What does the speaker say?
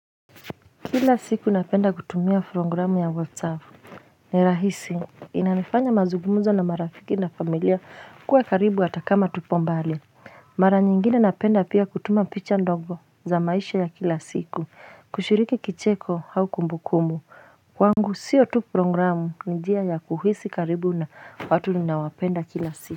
Kila siku napenda kutumia programu ya whatsapp ni rahisi inanifanya mazugumuzo na marafiki na familia kuwa karibu hata kama tupo mbali mara nyingine napenda pia kutuma picha ndogo za maisha ya kila siku kushiriki kicheko au kumbukumu wangu sio tu programu ni njia ya kuhisi karibu na watu ninawapenda kila siku.